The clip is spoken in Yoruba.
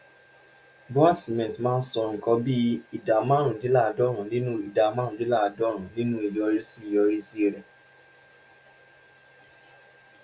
bua cement máa ń san nǹkan bí ìdá márùndínláàádọ́rùn-ún nínú ìdá márùndínláàádọ́rùn-ún nínú ìyọrísí ìyọrísí rẹ̀